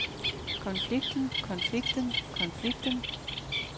konflikten konflikten konflikten